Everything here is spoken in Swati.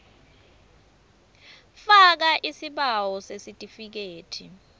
faka isibawo sesitifikethi